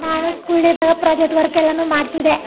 ನಾನು school day ಇದ್ದಾಗ project work ಎಲ್ಲಾನು ಮಾಡತ್ತಿದ್ದೆ.